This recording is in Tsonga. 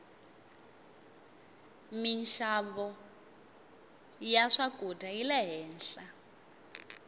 minxavo ya swakudya yile henhla